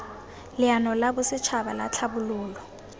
leano la bosetšhaba la tlhabololo